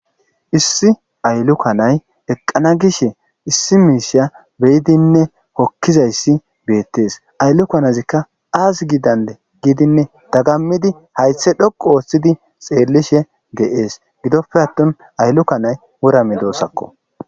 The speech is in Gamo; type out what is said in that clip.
Issi aylukanay eqqana gishe issi miishsha beyidinne hokkizassi beettees. Ayilukanazika aazi gidande giidinne dagammidi hayththe dhoqqu ooththidi xeellishe dees. Gidoppe attin aylukanay wora medosakko.